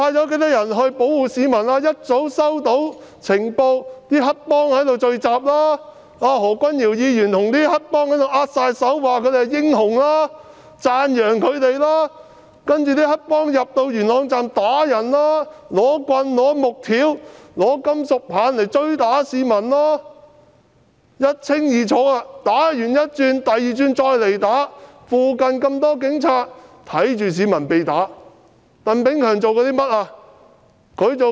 警方早已收到有黑幫聚集的情報，何君堯議員跟黑幫握手說他們是英雄，讚揚他們，其後黑幫便進入西鐵元朗站打人，用木棍、木條、金屬棒追打市民，一清二楚，打完第一輪後，第二輪又再折返打人。